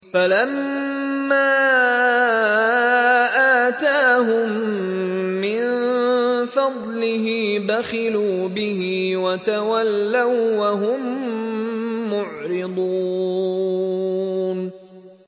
فَلَمَّا آتَاهُم مِّن فَضْلِهِ بَخِلُوا بِهِ وَتَوَلَّوا وَّهُم مُّعْرِضُونَ